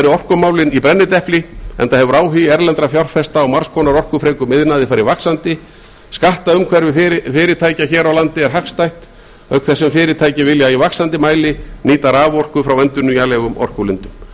orkumálin í brennidepli enda hefur áhugi erlendra fjárfesta á margs konar orkufrekum iðnaði farið vaxandi skattaumhverfi fyrirtækja hér á landi er hagstætt auk þess sem fyrirtæki vilja í vaxandi mæli nýta raforku frá endurnýjanlegum orkulindum